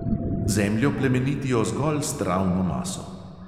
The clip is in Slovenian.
Zemljo plemenitijo zgolj s travno maso.